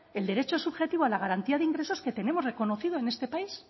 el derecho subjetivo a la garantía de ingresos que tenemos reconocido en este país